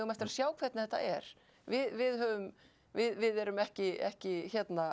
eftir að sjá hvernig þetta er við við erum ekki ekki